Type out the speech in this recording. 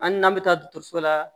An n'an bɛ taa dɔgɔtɔrɔso la